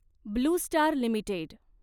blue Star limited